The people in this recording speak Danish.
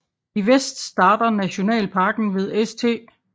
I vest starter nationalparken ved St